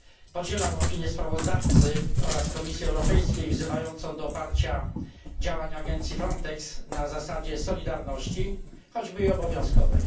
Podzielam opinię sprawozdawcy oraz Komisji Europejskiej, wzywającą do oparcia działań agencji FRONTEX na zasadzie solidarności, choćby i obowiązkowej.